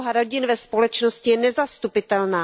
Úloha rodin ve společnosti je nezastupitelná.